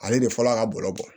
Ale de fɔlɔ a ka bɔlɔ bɔ